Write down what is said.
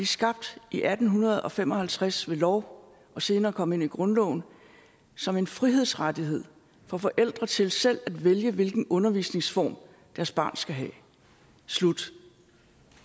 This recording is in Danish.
skabt i atten fem og halvtreds ved lov og senere kommet ind i grundloven som en frihedsrettighed for forældre til selv at vælge hvilken undervisningsform deres barn skal have slut